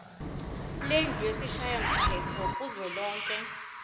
lendlu yesishayamthetho kuzwelonke